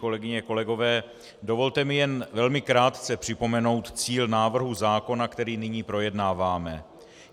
Kolegyně, kolegové, dovolte mi jen velmi krátce připomenout cíl návrhu zákona, který nyní projednáváme.